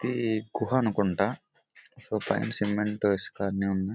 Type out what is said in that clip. ఇది గుహ అనుకుంటా ఇక్కడ సిమెంట్ ఇసుక అన్ని ఉన్నాయి .